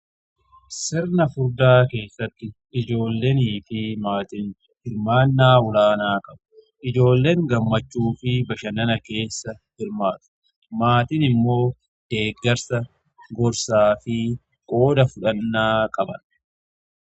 sirna fudhaa keessatti ijoolleenii fi maatiin hirmaannaa ulaanaa qabu ijoolleen gammachuu fi bashanana keessa hirmaatu maatin immoo deeggarsa gorsaa fi qooda fudhannaa qaban.